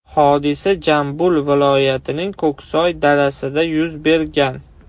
Hodisa Jambul viloyatining Ko‘ksoy darasida yuz bergan.